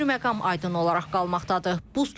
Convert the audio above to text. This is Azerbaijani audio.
Bir məqam aydın olaraq qalmaqdadır.